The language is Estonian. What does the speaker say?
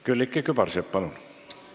Külliki Kübarsepp, palun!